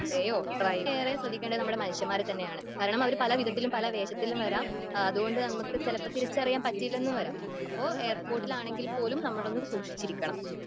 ഡ്രൈവറെയോ, ഏറെ ശ്രദ്ധിക്കേണ്ടത് മനുഷ്യമ്മാരെയെ തന്നെയാണ് കാരണം അവർ പല വിധത്തിലും വേഷത്തിലും വരാം അതുകൊണ്ട് നമുക്ക് തിരിച്ചറിയാൻ പറ്റിയില്ലെന്ന് വരാം.അപ്പോൾ എയർപോർട്ടിൽ ആണെങ്കിൽ പോലും നമ്മൾ സൂക്ഷിച്ചിരിക്കണം.